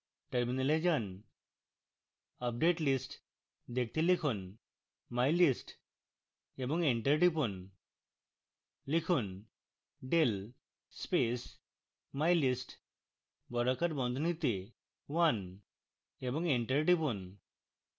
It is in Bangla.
terminal যান